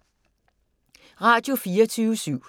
Radio24syv